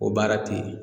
O baara te yen